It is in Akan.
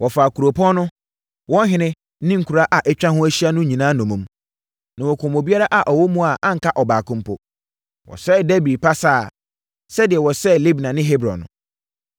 Wɔfaa kuropɔn no, wɔn ɔhene ne nkuraa a atwa ho ahyia no nyinaa nnommum. Na wɔkumm obiara a ɔwɔ mu a anka ɔbaako mpo. Wɔsɛee Debir pasaa sɛdeɛ wɔsɛee Libna ne Hebron no.